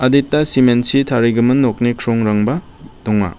adita cement -chi tarigimin nokni krongrangba donga.